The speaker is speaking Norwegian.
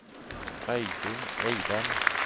Reidun Eidem